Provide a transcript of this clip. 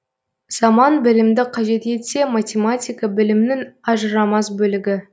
заман білімді қажет етсе математика білімнің ажырамас бөлігі